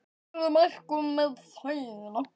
Hver eru markmið þín?